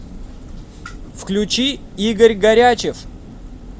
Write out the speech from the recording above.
включи игорь горячев